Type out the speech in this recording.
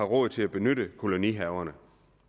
råd til at benytte kolonihaverne